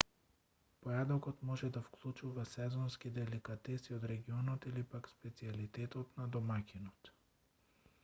појадокот може да вклучува сезонски деликатеси од регионот или пак специјалитетот на домаќинот